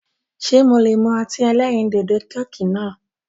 Ṣe mo lè mú ọtí ẹlẹ́rìndòdò "Coke" náà